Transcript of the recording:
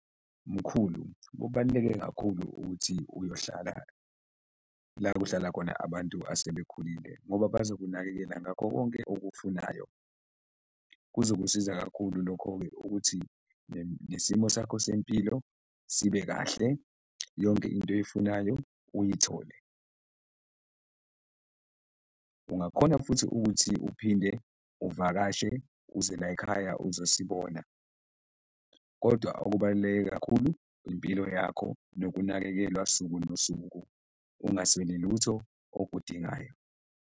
Mkhulu, kubaluleke kakhulu ukuthi uyohlala la kuhlala khona abantu asebekhulile ngoba bazokunakekela ngakho konke okufunayo, kuzokusiza kakhulu lokho-ke ukuthi nesimo sakho sempilo sibe kahle, yonke into oyifunayo uyithole. Ungakhona futhi ukuthi uphinde uvakashe uze la ekhaya uzosibona kodwa okubaluleke kakhulu impilo yakho nokunakekelwa suku nosuku, ungasweli lutho okudingayo.